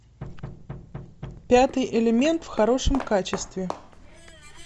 пятый элемент в хорошем качестве